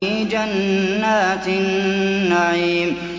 فِي جَنَّاتِ النَّعِيمِ